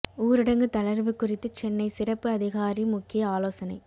ஊரடங்கு தளர்வு குறித்து சென்னை சிறப்பு அதிகாரி முக்கிய ஆலோசனை